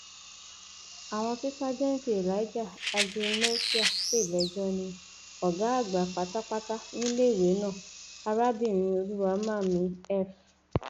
àwọn tí sájẹǹtì elijah agenoisa pè lẹjọ ní ọgá àgbà pátápátá níléèwé náà arábìnrin olùwáḿàmì f